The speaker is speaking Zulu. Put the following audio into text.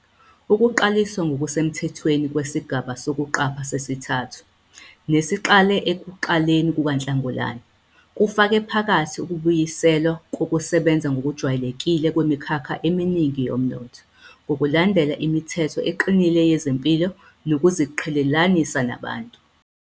Ukuqaliswa ngokusemthethweni kwesigaba sokuqapha sesithathu, nesiqale ekuqaleni kukaNhlangulana, kufake phakathi ukubuyiselwa kokusebenza ngokujwayelekile kwemikhakha eminingi yomnotho, ngokulandela imithetho eqinile yezempilo nokuziqhelelanisa nabantu.